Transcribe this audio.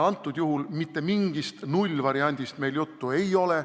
Praegu meil mitte mingist nullvariandist juttu ei ole.